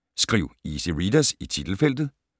Skriv 'easy readers' i titelfeltet